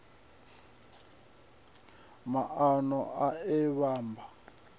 maano e a a vhamba